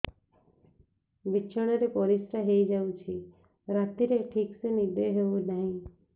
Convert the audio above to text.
ବିଛଣା ରେ ପରିଶ୍ରା ହେଇ ଯାଉଛି ରାତିରେ ଠିକ ସେ ନିଦ ହେଉନାହିଁ